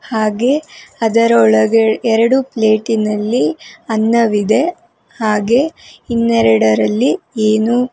ಹಾಗೆ ಅದರೊಳಗೆ ಎರಡು ಪ್ಲೇಟಿನಲ್ಲಿ ಅನ್ನವಿದೆ ಹಾಗೆ ಇನ್ನೆರಡರಲ್ಲಿ ಏನು--